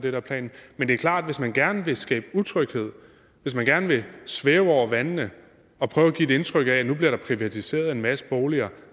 er planen men det er klart at hvis man gerne vil skabe utryghed og hvis man gerne vil svæve over vandene og prøve at give et indtryk af at nu bliver der privatiseret en masse boliger